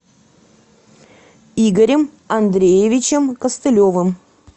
игорем андреевичем костылевым